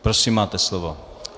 Prosím, máte slovo.